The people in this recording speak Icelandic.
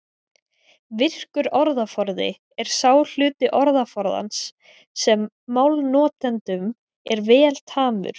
Virkur orðaforði er sá hluti orðaforðans sem málnotandanum er vel tamur.